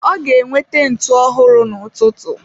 Ọ ga-enweta ntụ ọhụrụ n'ụtụtụ.